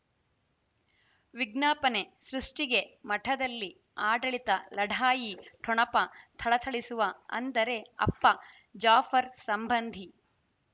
ವಿಜ್ಞಾಪನೆ ಸೃಷ್ಟಿಗೆ ಮಠದಲ್ಲಿ ಆಡಳಿತ ಲಢಾಯಿ ಠೊಣಪ ಥಳಥಳಿಸುವ ಅಂದರೆ ಅಪ್ಪ ಜಾಫರ್ ಸಂಬಂಧಿ